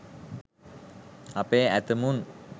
අපේ ඇතැමුන්